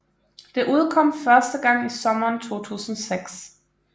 Det udkom første gang i sommeren 2006